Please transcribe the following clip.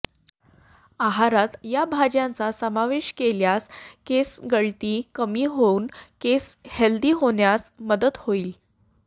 आहारात या भाज्यांचा समावेश केल्यास केसगळती कमी होऊन केस हेल्दी होण्यास मदत होईल